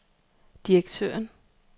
direktøren